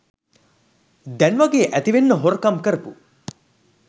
දැන්වගේ ඇතිවෙන්න හොරකම් කරපු